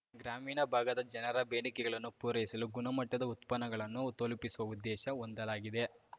ಗ್ರಾಮೀಣ ಭಾಗದ ಜನರ ಬೇಡಿಕೆಗಳನ್ನು ಪೂರೈಸಲು ಗುಣಮಟ್ಟದ ಉತ್ಪನ್ನಗಳನ್ನು ತಲುಪಿಸುವ ಉದ್ದೇಶ ಹೊಂದಲಾಗಿದೆ